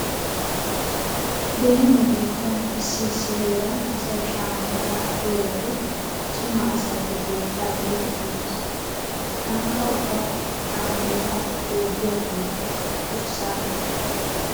Beni nu biittan issi issi heeran asay shameetaa agiyo wode cima asay he keettaa biidi uyees. Taanikka ubba sham"eetaa jookiya kumetta wurssaaggays.